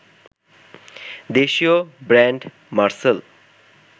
দেশীয় ব্র্যান্ড মারসেল